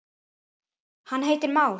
hann heitir már.